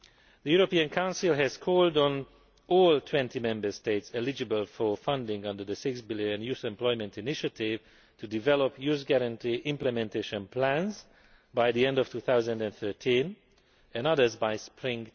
The European Council has called on all 20 Member States eligible for funding under the EUR 6 billion Youth Employment Initiative to develop Youth Guarantee Implementation Plans by the end of 2013, and others by spring